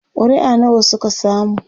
ƙuri'a nawa Suka samu?